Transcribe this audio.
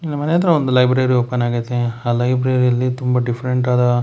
ಇಲ್ ಮನೆ ಹತ್ರ ಒಂದು ಲೈಬ್ರರಿ ಓಪನ್ ಆಗೈತಿ ಆ ಲೈಬ್ರರಿ ಯಲ್ಲಿ ತುಂಬಾ ಡಿಫರೆಂಟ್ ಆದ --